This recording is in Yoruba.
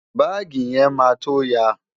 Báàgì yẹn máa tó ya.